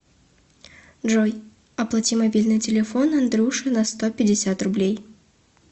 джой оплати мобильный телефон андрюше на сто пятьдесят рублей